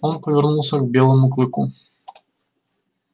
он повернулся к белому клыку